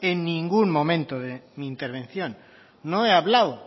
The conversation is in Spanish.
en ningún momento de mi intervención no he hablado